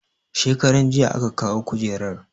Shekaranjiya aka kawo kujerar